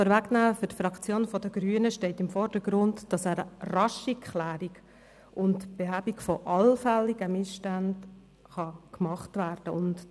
Für die Fraktion der Grünen steht im Vordergrund, dass eine rasche Klärung und Behebung allfälliger Missstände vorgenommen werden kann.